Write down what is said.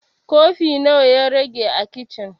Kofi nawa ya rage a kicin?